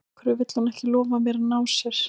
Af hverju vill hún ekki lofa mér að ná sér?